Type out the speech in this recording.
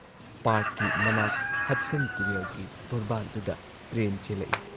ꯄꯥꯔꯛꯀꯤ ꯃꯅꯥꯛ ꯍꯗꯁꯟ ꯇꯨꯔꯦꯜꯒꯤ ꯇꯣꯔꯕꯥꯟꯗꯨꯗ ꯇ꯭ꯔꯦꯟ ꯆꯦꯜꯂꯛꯏ ꯫